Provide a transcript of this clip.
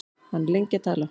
Hann er lengi að tala.